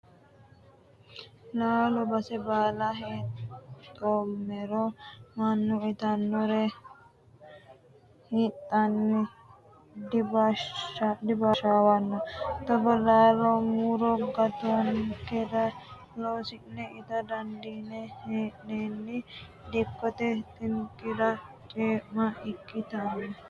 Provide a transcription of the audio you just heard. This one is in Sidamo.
Laalo base baalla heedhomero mannu itanore hidhanni dibaashawano togoo laalo muro gaatankera loosine itta dandiine hee'nenni dikkote xinqira ceema ikkittano